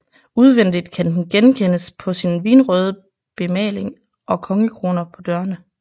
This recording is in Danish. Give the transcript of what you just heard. Udvendigt kan den genkendes på sin vinrøde bemaling og kongekroner på dørene